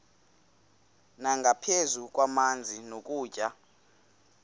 nangaphezu kwamanzi nokutya